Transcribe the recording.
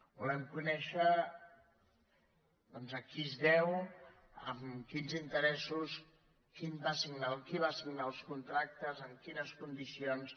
volem conèixer doncs a qui es deu amb quins interessos qui va signar els contractes amb quines condicions